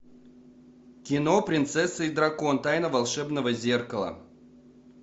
кино принцесса и дракон тайна волшебного зеркала